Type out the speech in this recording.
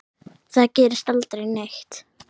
Þar gerist aldrei neitt.